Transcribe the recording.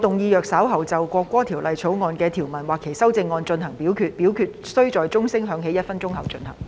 主席，我動議若稍後就《國歌條例草案》的修正案或條文進行點名表決，表決須在鐘聲響起1分鐘後進行。